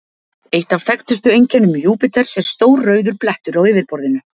Eitt af þekktustu einkennum Júpíters er stór rauður blettur á yfirborðinu.